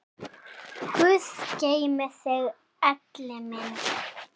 Guð geymi þig, Elli minn.